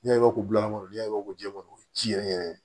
N'a ye ko bilakoro ya ko jɛman o ye ji yɛrɛ yɛrɛ ye